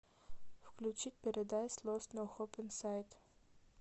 включить пэрэдайз лост ноу хоуп ин сайт